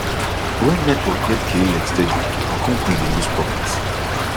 when network get kleg steady di company dey lose profit